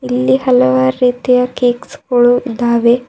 ಇಲ್ಲಿ ಹಲವಾರು ರೀತಿಯ ಕೇಕ್ಸ್ ಗೋಳು ಇದ್ದಾವೆ.